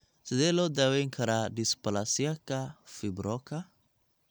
Sidee loo daweyn karaa dysplasiaka fibroka